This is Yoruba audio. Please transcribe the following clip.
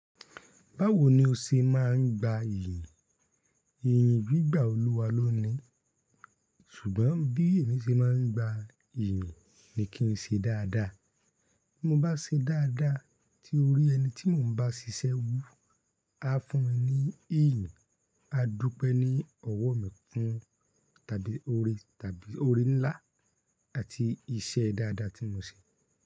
Báwo ni o ṣe máa ń gba ìyìn? Ìyìn gbígbà Olúwa ló ni. Ṣùgbọ́n bí èmi ṣe máa ń gba ìyìn ni kí n ṣe dáadáa. Bí mo bá ṣe dáadáa tí orí ẹni tí mò ń bá ṣiṣẹ́ wú, á fún ẹ ní ìyìn, á dúpẹ́ ní ọwọ́ mi fún tàbí ore tàbí ore ńlá àti iṣẹ́ dáadáa tí mo ṣe.